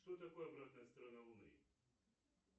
что такое обратная сторона луны